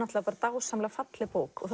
dásamlega falleg bók